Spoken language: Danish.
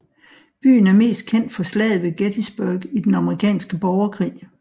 Byen er mest kendt for Slaget ved Gettysburg i den amerikanske borgerkrig